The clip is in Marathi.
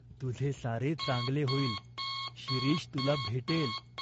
तुझे सारे चांगले होईल. शिरीष तुला भेटेल.